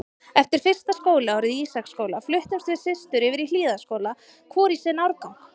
Eftir fyrsta skólaárið í Ísaksskóla fluttumst við systur yfir í Hlíðaskóla, hvor í sinn árgang.